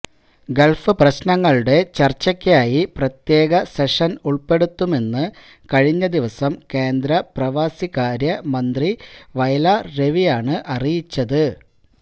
Gulf പ്രശ്നങ്ങളുടെ ചര്ച്ചക്കായി പ്രത്യേക സെഷന് ഉള്പെടുത്തുമെന്ന് കഴിഞ്ഞ ദിവസം കേന്ദ്ര പ്രവാസികാര്യ മന്ത്രി വയലാര് രവിയാണ് അറിയിച്ചത്